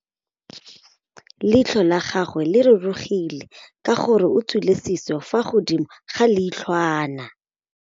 Leitlhô la gagwe le rurugile ka gore o tswile sisô fa godimo ga leitlhwana.